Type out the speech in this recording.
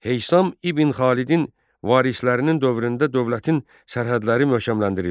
Heysam ibn Xalidin varislərinin dövründə dövlətin sərhədləri möhkəmləndirildi.